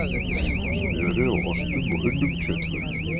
Smjöri og ostum og unnum kjötvörum